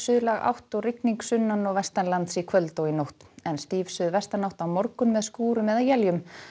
suðlæg átt og rigning sunnan og vestanlands í kvöld og nótt en stíf suðvestanátt á morgun með skúrum eða éljum